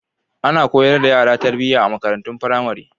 Ana koyar da yara tarbiyya a makarantun firamare.